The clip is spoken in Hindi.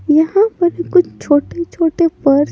यहां पर कुछ छोटे-छोटे पर--